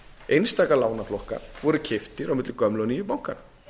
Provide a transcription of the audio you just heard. einstaka lánaflokkar voru keyptir á milli gömlu og nýju bankanna